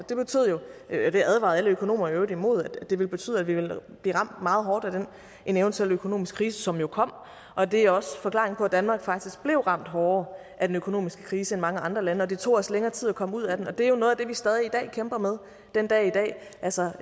det advarede alle økonomer i øvrigt imod det ville betyde at vi ville blive ramt meget hårdt af en eventuel økonomisk krise som jo kom og det er også forklaringen på at danmark faktisk blev ramt hårdere af den økonomiske krise end mange andre lande og det tog os længere tid at komme ud af den og det er jo noget af det vi stadig kæmper med den dag i dag altså